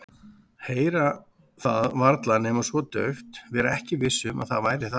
Heyra það varla nema svo dauft, vera ekki viss um að það væri það.